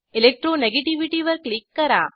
electro negativity वर click करा